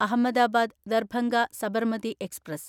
Ahmedabad Darbhanga Sabarmati express